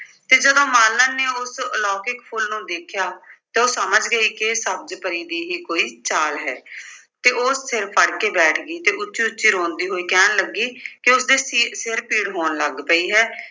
ਤੇ ਜਦੋਂ ਮਾਲਣ ਨੇ ਉਸ ਆਲੌਕਿਕ ਫੁੱਲ ਨੂੰ ਦੇਖਿਆ ਤਾਂ ਉਹ ਸਮਝ ਗਈ ਕਿ ਇਹ ਸਬਜ਼ ਪਰੀ ਦੀ ਹੀ ਕੋਈ ਚਾਲ ਹੈ ਤੇ ਉਹ ਸਿਰ ਫੜ ਕੇ ਬੈਠ ਗਈ ਤੇ ਉੱਚੀ-ਉੱਚੀ ਰੋਂਦੀ ਹੋਈ ਕਹਿਣ ਲੱਗੀ ਕਿ ਉਸਦੇ ਸਿ ਅਰ ਸਿਰ ਪੀੜ ਹੋਣ ਲੱਗ ਪਈ ਹੈ